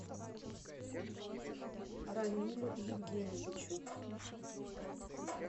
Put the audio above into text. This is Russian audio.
рамилю евгеньевичу